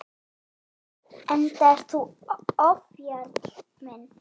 Enda ert þú ofjarl minn.